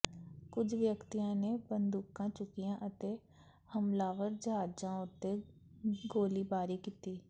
ਕੁਝ ਵਿਅਕਤੀਆਂ ਨੇ ਬੰਦੂਕਾਂ ਚੁੱਕੀਆਂ ਅਤੇ ਹਮਲਾਵਰ ਜਹਾਜ਼ਾਂ ਉੱਤੇ ਗੋਲੀਬਾਰੀ ਕੀਤੀ